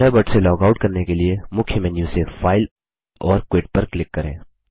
Thunderbird से log out करने के लिए मुख्य मेन्यू से फाइल और क्विट पर क्लिक करें